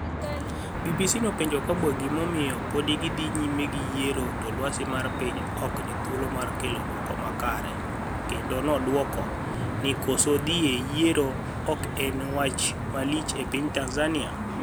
BBC nopenijo Kabwe gimaomiyo pod gi dhi niyime gi yiero to lwasi mar piniy ok ni thuolomar kelo duoko maber kenido noduoko ni koso dhiye yiero ok eni e wach malich epiniy tanizaniia.